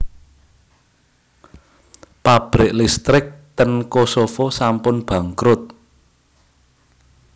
Pabrik listrik ten Kosovo sampun bangkrut